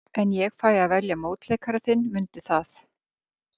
En ég fæ að velja mótleikara þinn, mundu það.